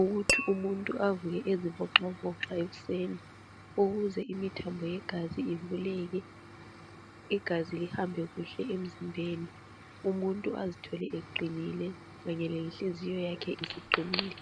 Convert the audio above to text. ukuthi umuntu avuke ezivoxavoxa ekuseni ukuze imithambo yegazi ivuleke, igazi lihambe kuhle emzimbeni. Umuntu azithole eqinile kanye lenhliziyo yakhe isiqinile.